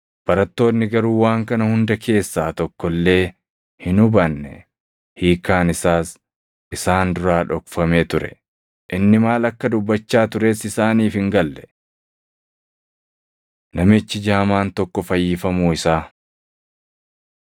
Barattoonni garuu waan kana hunda keessaa tokko illee hin hubanne; hiikkaan isaas isaan duraa dhokfamee ture. Inni maal akka dubbachaa tures isaaniif hin galle. Namichi Jaamaan Tokko Fayyifamuu Isaa 18:35‑43 kwf – Mat 20:29‑34; Mar 10:46‑52